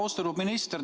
Austatud minister!